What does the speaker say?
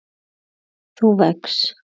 þú vex.